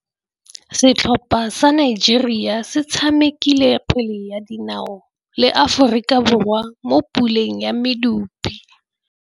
Setlhopha sa Nigeria se tshamekile kgwele ya dinaô le Aforika Borwa mo puleng ya medupe.